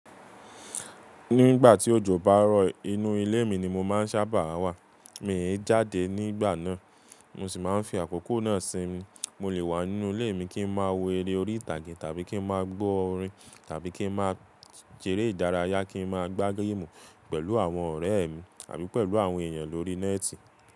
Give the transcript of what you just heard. Nígbà tí òjò bá rọ̀, inú ilé mi ni mo máa ń sábà wà. Mi ò jáde nígbà náà. Mo sì máa ń fi àkókò náà sími, mo lè wà nínú ilé mi kí n má wo eré orí ìtàgé tàbí kí n má gbọ́ orin tàbí kí n má seré ìdárayá, kí n má gbá géémù pẹ̀lú àwọn ọ̀rẹ́ mi tàbí pẹ̀lú àwọn èèyàn lórí Nẹ́ẹ́tì.